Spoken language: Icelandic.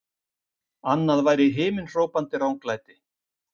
Annað væri himinhrópandi ranglæti!